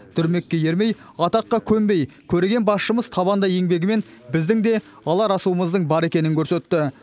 дүрмекке ермей атаққа көнбей көреген басшымыз табанды еңбегімен біздің де алар асуымыздың бар екенін көрсетті